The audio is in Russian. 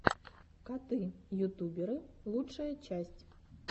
коты ютуберы лучшая часть